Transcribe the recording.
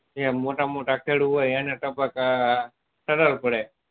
મોટા મોટા ખેડું હોય એને ટપક સરળ પડે